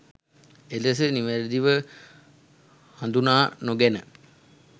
එලෙස නිවැරදිව හඳුනා නොගෙන